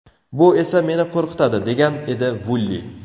Bu esa meni qo‘rqitadi, degan edi Vulli.